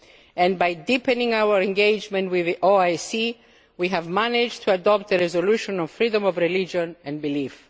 And by deepening our engagement with the OIC, we have managed to adopt a resolution on freedom of religion and belief.